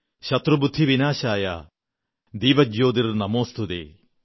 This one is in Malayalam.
ശത്രുബുദ്ധിവിനാശായ ദീപജ്യോതിർനമോസ്തുതേ